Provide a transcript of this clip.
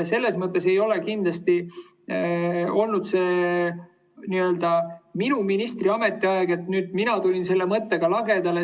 See ei olnud kindlasti minu ministriks oleku ajal, et nüüd mina tulin selle mõttega lagedale.